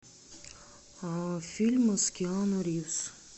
фильмы с киану ривз